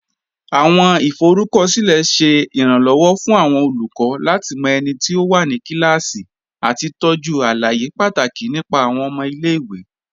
Awọn ifọrúkọsilẹ̀ ṣẹ́ iránlọwọ̀ fún awọn olùkọ̀ lati mọ ẹ̀niti ó wà ní kílásí àti tọ́jú alàyè pátákì nípa awọn ọmọ ilẹ̀-ìwé.